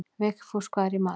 Vigfús, hvað er í matinn?